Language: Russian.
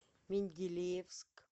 менделеевск